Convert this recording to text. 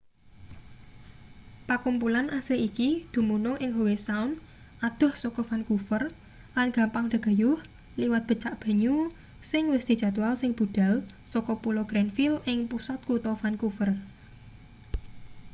pakumpulan asli iki dumunung ing howe sound adoh saka vancouver lan gampang dagayuh liwat becak banyu sing wis dijadwal sing budhal saka pulo granville ing pusat kutha vancouver